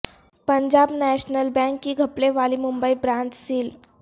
Punjab national bank کی گھپلے والی ممبئی برانچ سیل